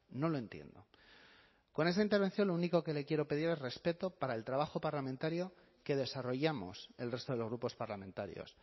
no lo entiendo con esta intervención lo único que le quiero pedir es respeto para el trabajo parlamentario que desarrollamos el resto de los grupos parlamentarios